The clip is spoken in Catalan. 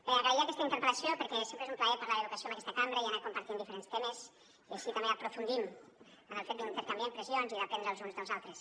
bé agrair aquesta interpel·lació perquè sempre és un plaer parlar d’educació en aquesta cambra i anar compartint diferents temes i així també aprofundim en el fet d’intercanviar impressions i d’aprendre els uns dels altres